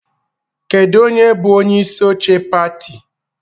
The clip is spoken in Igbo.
Kedu onye bụ onyeisi oche pati?